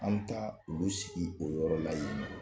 An mi taa olu sigi o yɔrɔ la yen